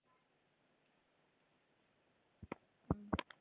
உம்